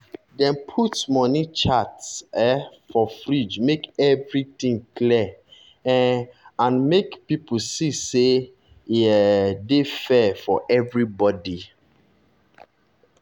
dem put money chart um for fridge make everything clear um and make people see say e um dey fair for everybody.